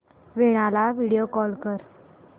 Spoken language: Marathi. वीणा ला व्हिडिओ कॉल कर